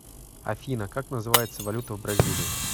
афина как называется валюта в бразилии